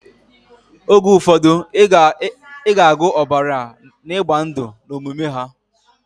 Oge ufodu iga agu obara na igba ndu na omume ha.